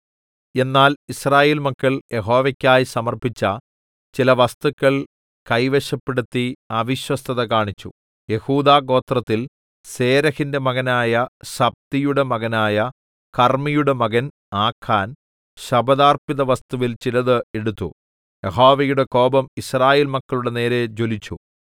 എന്നാൽ യിസ്രായേൽ മക്കൾ യഹോവക്കായി സമർപ്പിച്ച ചില വസ്തുക്കൾ കൈവശപ്പെടുത്തി അവിശ്വസ്തത കാണിച്ചു യെഹൂദാഗോത്രത്തിൽ സേരെഹിന്റെ മകനായ സബ്ദിയുടെ മകനായ കർമ്മിയുടെ മകൻ ആഖാൻ ശപഥാർപ്പിതവസ്തുവിൽ ചിലത് എടുത്തു യഹോവയുടെ കോപം യിസ്രായേൽ മക്കളുടെ നേരെ ജ്വലിച്ചു